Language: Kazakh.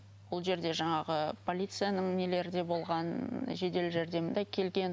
ол жерде жаңағы полицияның нелері де болған жедел жәрдем де келген